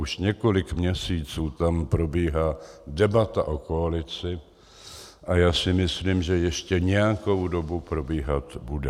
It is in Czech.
Už několik měsíců tam probíhá debata o koalici a já si myslím, že ještě nějakou dobu probíhat bude.